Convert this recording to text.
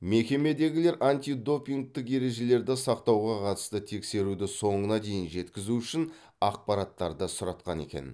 мекемедегілер антидопингтік ережелерді сақтауға қатысты тексеруді соңына дейін жеткізу үшін ақпараттарды сұратқан екен